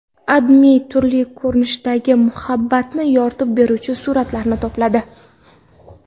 AdMe turli ko‘rinishdagi muhabbatni yoritib beruvchi suratlarni to‘pladi .